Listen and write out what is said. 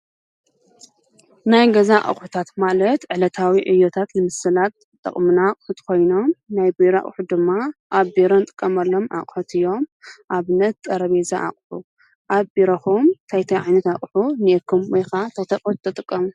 ናይ ገዛ ኣቁሑታት ማለት ዕለታዊ ዕዮታት ንምስላጥ ዝጠቅሙና ኣቁሑት ኮይኖም ናይ ቢሮ ኣቁሑት ድማ ኣብ ቢሮ እንጥቀመሎም ኣቁሑት እዮም ። ኣብነት፦ ጠረጰዛ ኣቁሑ ኣብ ቢሮኩም እንታይ እንታይ ዓይነት ኣቁሑት እንሄኩም ወይ ከዓ እንታይ እንታይ ኣቁሑት ትጥቀሙ?